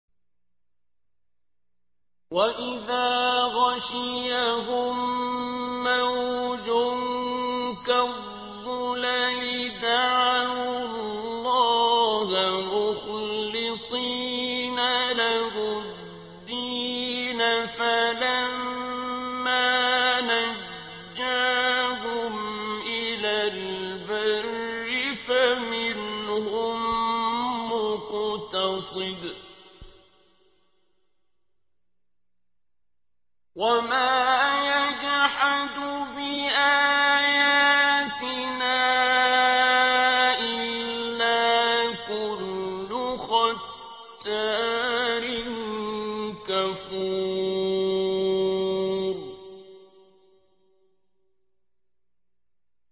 وَإِذَا غَشِيَهُم مَّوْجٌ كَالظُّلَلِ دَعَوُا اللَّهَ مُخْلِصِينَ لَهُ الدِّينَ فَلَمَّا نَجَّاهُمْ إِلَى الْبَرِّ فَمِنْهُم مُّقْتَصِدٌ ۚ وَمَا يَجْحَدُ بِآيَاتِنَا إِلَّا كُلُّ خَتَّارٍ كَفُورٍ